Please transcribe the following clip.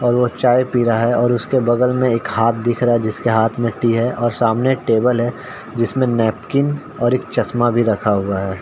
और वो चाय पी रहा रहा है और उसके बगल में एक हाथ दिख रहा है जिसके हाथ में टी हैं और सामने एक टेबल है जिसमें नैपकिन और एक चस्मा भी रखा हुआ है।